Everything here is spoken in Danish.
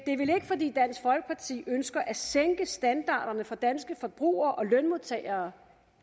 fordi dansk folkeparti ønsker at sænke standarderne for danske forbrugere og lønmodtagere